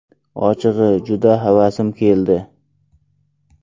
Ochig‘i, juda havasim keldi.